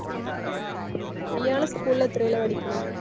ഇയാള് school ൽ എത്രൈലാ പഠിക്കുണ്?